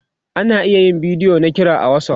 ana iya yin bidiyo na kira a WhatsApp